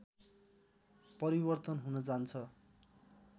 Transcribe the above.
परिवर्तन हुन जान्छ